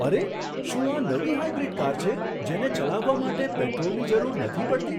અરે! શું આ નવી હાઇબ્રિડ કાર છે, જેને ચલાવવા માટે પેટ્રોલની જરૂર નથી પડતી?